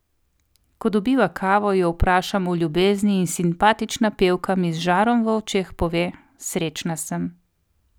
Ko dobiva kavo, jo povprašam o ljubezni in simpatična pevka mi z žarom v očeh pove: 'Srečna sem!